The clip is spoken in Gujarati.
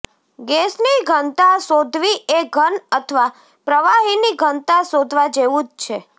ગેસની ઘનતા શોધવી એ ઘન અથવા પ્રવાહીની ઘનતા શોધવા જેવું જ છે